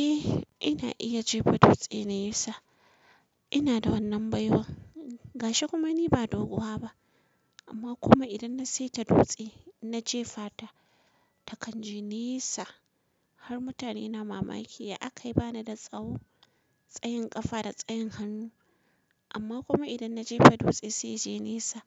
Eh ina iya jefa dutse da nisa. Ina da wannan baiwar gashi kuma ni ba doguwa ba amma kuma idan na saita dutse na jefa ta ta kan je nesa har mutane na mamaki ya aka yi ba ni da tsawo tsayin kafa da tsayin hannu amma kuma idan na jefa dutse sai ya je nesa